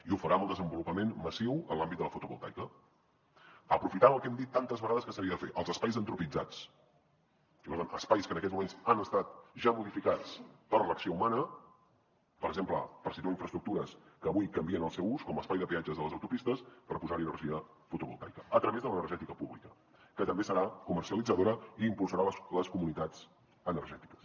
i ho farà amb el desenvolupament massiu en l’àmbit de la fotovoltaica aprofitant el que hem dit tantes vegades que s’havia de fer els espais antropitzats espais que en aquests moments han estat ja modificats per l’acció humana per exemple per situar infraestructures que avui canvien el seu ús com espai de peatges de les autopistes per posar hi energia fotovoltaica a través de l’energètica pública que també serà comercialitzadora i impulsarà les comunitats energètiques